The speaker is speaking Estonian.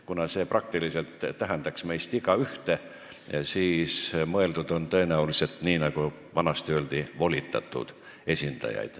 Kuna see tähendaks praktiliselt igaühte meist, on tõenäoliselt mõeldud volitatud esindajaid, nii nagu vanasti öeldi.